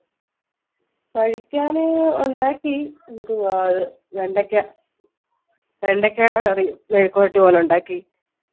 കഴിക്കാൻ ഉണ്ടാക്കി എന്തുവാ അത് വെണ്ടക്ക വെണ്ടക്കടെ curry യും പോലെ ഇണ്ടാക്കി